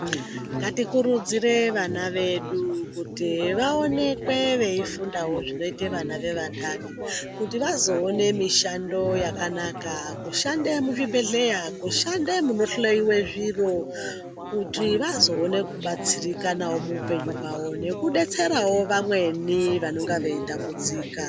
Ngatikurudzire vana vedu kuti vaonekwe veifundawo zvinoita vana vevanthani. Kuti vazoona mishando yakanaka kushande muzvibhedhlera, kushande munohloiwa zviro, kuti vazoona kubatsirikanawo muupenyu hwavo nekudetserawo vamweni vanenge vachitambudzika.